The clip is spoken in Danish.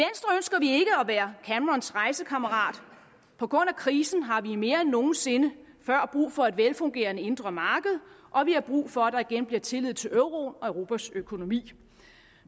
være camerons rejsekammerat på grund af krisen har vi mere end nogen sinde før brug for et velfungerende indre marked og vi har brug for at der igen bliver tillid til euroen og europas økonomi